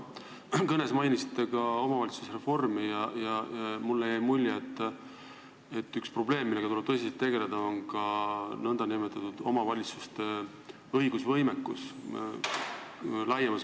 Te oma kõnes mainisite ka omavalitsusreformi ja mulle jäi mulje, et üks probleem, millega tuleb tõsiselt tegeleda, on omavalitsuste õigusvõimekus.